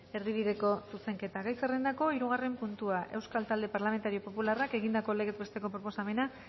erdibideko zuzenketa gai zerrendako hirugarren puntua euskal talde parlamentario popularrak egindako legez besteko proposamena